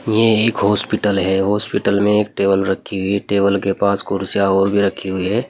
ये एक हॉस्पिटल है हॉस्पिटल में एक टेबल रखी हुई टेबल के पास कुर्सीयां और भी रखी हुई है।